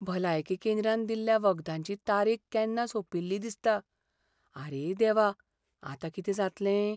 भलायकी केंद्रान दिल्ल्या वखदांची तारीख केन्ना सोंपिल्ली दिसता. आरे देवा, आतां कितें जातलें?